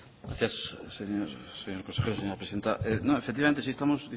gracias señor consejero señora presidenta no efectivamente sí estamos